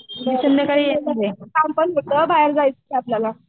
काम पण होतं बाहेर जायचं आहे आपल्याला.